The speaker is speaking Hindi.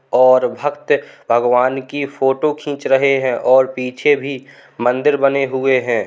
और भक्त भगवान की फोटो खींच रहे है और पीछे भी मंदिर बने हुए है।